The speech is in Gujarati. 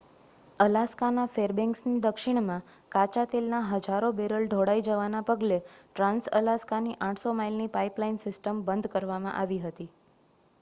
અલાસ્કાના ફેરબેન્ક્સની દક્ષિણમાં કાચા તેલના હજારો બેરલના ઢોળાઈ જવાના પગલે ટ્રાંસ-અલાસ્કાની 800 માઇલની પાઇપલાઇન સિસ્ટમ બંધ કરવામાં આવી હતી